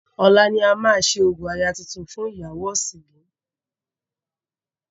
Ọ̀la ni a máa ṣe orò aya tuntun fún ìyàwó ọ̀sìngìn.